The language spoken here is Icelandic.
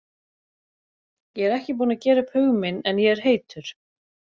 Ég er ekki búinn að gera upp hug minn en ég er heitur.